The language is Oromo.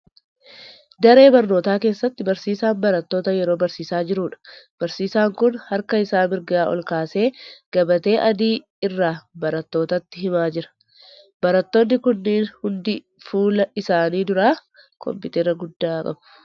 Daree barnootaa keessatti barsiisaan baratoota yeroo barsiisaa jiruudha. Barsiisaan kun harka isaa mirgaa ol kaasee gabatee adii irraa barattootatti himaa jira. Barattoonni kunneen hundi fuula isaanii duraa 'kompiitera' guddaa qabu.